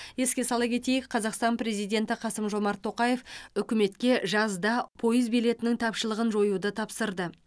еске сала кетейік қазақстан президенті қасым жомарт тоқаев үкіметке жазда пойыз билетінің тапшылығын жоюды тапсырды